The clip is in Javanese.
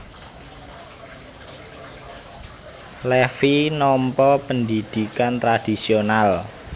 Levi nampa pendhidhikan tradhisional